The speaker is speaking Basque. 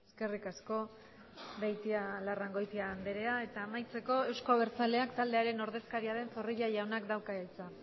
eskerrik asko beitialarrangoitia andrea eta amaitzeko euzko abertzaleak taldearen ordezkaria den zorrilla jaunak dauka hitza